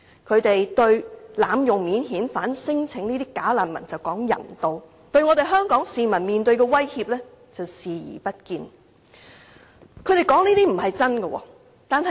他們對這些濫用免遣返聲請的"假難民"大談人道，但對香港市民面對的威脅卻視而不見。